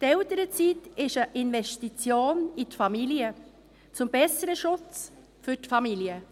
– Die Elternzeit ist eine Investition in die Familie, zum besseren Schutz für die Familie.